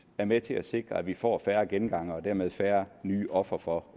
er med til at sikre at vi får færre gengangere og dermed færre nye ofre for